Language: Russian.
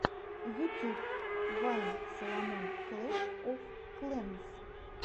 ютюб вайн саломон клэш оф клэнс